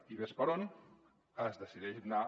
i ves per on es decideix anar